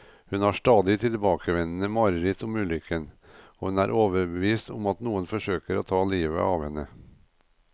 Hun har stadig tilbakevendende mareritt om ulykken, og hun er overbevist om at noen forsøker å ta livet av henne.